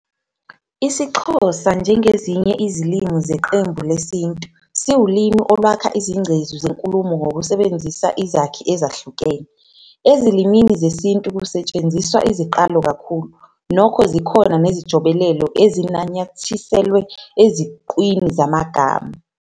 IsiXhosa, njengezinye izilimi zeqembu lesiNtu, siwulimi olwakha izingcezu zenkulumo ngokusebenzisa izakhi ezahlukene. Ezilimini zesiNtu kusetshenziswa iziqalo kakhulu, nokho zikhona nezijobelelo ezinanyathiselwe eziqwini zamagama.